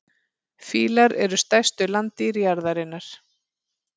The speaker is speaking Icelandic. Fílar eru stærstu landdýr jarðarinnar.